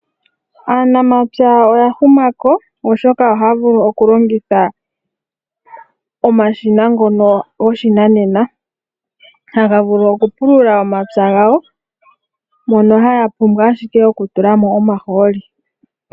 Aanamapya oya huma ko oshoka ohaya vulu oku longitha omashina ngono goshinanena, haga vulu oku pulula omapya gawo mono haya pumbwa ashike oku tula mo omahooli.